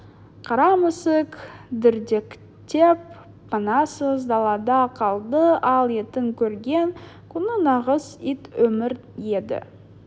қара мысық дірдектеп панасыз далада қалды ал иттің көрген күні нағыз ит өмір еді